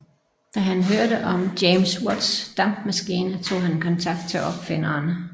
Da han hørte om James Watts dampmaskine tog han kontakt til opfinderen